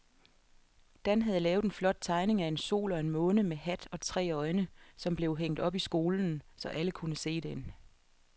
Dan havde lavet en flot tegning af en sol og en måne med hat og tre øjne, som blev hængt op i skolen, så alle kunne se den.